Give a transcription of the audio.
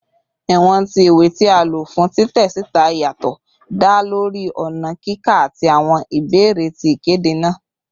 Iwọn ti iwe ti a lo fun titẹ sita yatọ da lori ọna kika ati awọn ibeere ti ikede naa